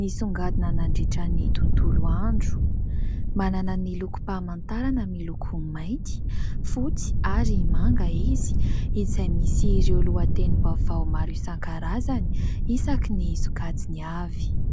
nisongadina nandritry ny tontolo andro. Manana ny lokom-pahamantarana miloko mainty, fotsy ary manga izy izay nisy ireo lohatenim-baovao maro isankarazany isaky ny sokadiny avy.